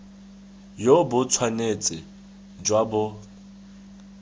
jo bo tshwanetse jwa bo